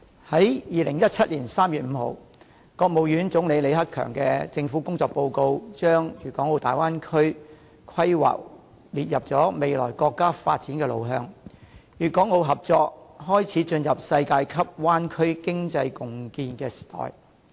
在2017年3月5日，國務院總理李克強的政府工作報告把粵港澳大灣區規劃列入未來國家的發展路向，粵港澳合作開始進入世界級灣區經濟共建時代。